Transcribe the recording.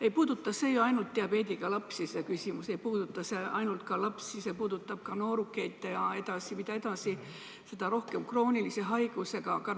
Ei puuduta see ju ainult diabeediga lapsi, see küsimus puudutab ka noorukeid ja mida aeg edasi, seda rohkem kroonilise haigusega inimesi.